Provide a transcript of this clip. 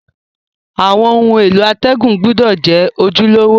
Àwon oun èló àtègùn gbúdò je ojúlówó